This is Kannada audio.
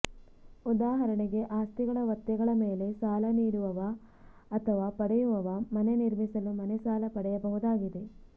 ಉದಾಹರಣೆಗೆ ಆಸ್ತಿಗಳ ಒತ್ತೆಗಳ ಮೇಲೆ ಸಾಲ ನೀಡುವವ ಅಥವಾ ಪಡೆಯುವವ ಮನೆ ನಿರ್ಮಿಸಲು ಮನೆ ಸಾಲ ಪಡೆಯಬಹುದಾಗಿದೆ